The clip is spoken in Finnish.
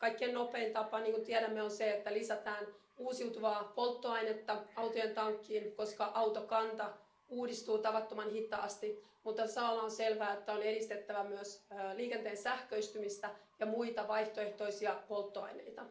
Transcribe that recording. Kaikkein nopein tapa, niin kuin tiedämme, on se, että lisätään uusiutuvaa polttoainetta autojen tankkeihin, koska autokanta uudistuu tavattoman hitaasti. Mutta samalla on selvää, että on edistettävä myös liikenteen sähköistymistä ja muita vaihtoehtoisia polttoaineita.